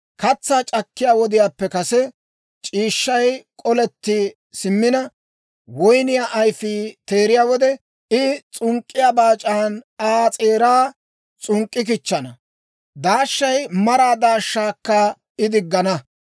Katsaa c'akkiyaa wodiyaappe kase, c'iishshay koletti simmina, woyniyaa ayfii teeriyaa wode, I s'unk'k'iyaa baac'aan Aa s'eeraa s'unk'k'ikichchana; daashiyaa maraa daashshaakka I diggana.